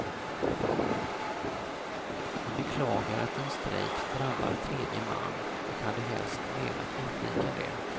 Han beklagar att en strejk drabbar tredje man och hade helst velat undvika det.